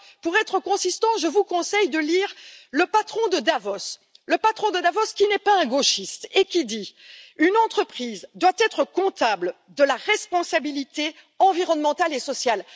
Alors, pour être cohérents, je vous conseille de lire le patron de Davos, le patron de Davos qui n'est pas un gauchiste et qui dit une entreprise doit être comptable de la responsabilité environnementale et sociale.